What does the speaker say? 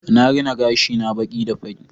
Na rina gashina baki da fari